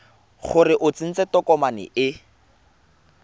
gore o tsentse tokomane e